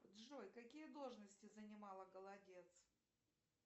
джой какие должности занимала голодец